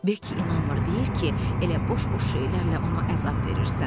Beki inanmır, deyir ki, elə boş-boş şeylərlə ona əzab verirsən.